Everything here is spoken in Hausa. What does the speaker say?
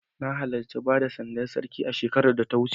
Na halarci bada sandar Sarki shekarar da ta wuce.